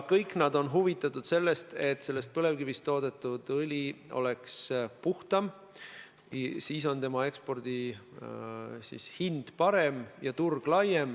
Kõik nad on huvitatud sellest, et põlevkivist toodetud õli oleks puhtam, siis on selle ekspordihind parem ja turg laiem.